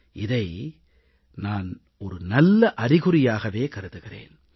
இதை நான் நல்ல அறிகுறியாகவே கருதுகிறேன்